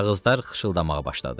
Kağızlar xışıltılamağa başladı.